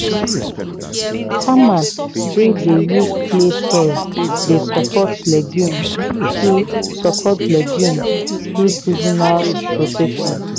farmers wey dey use clay soils dey support legumes through support legumes through seasonal rotation.